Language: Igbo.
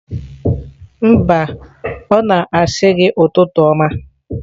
Mba, ọ na-asị gi ụtụtụ ọma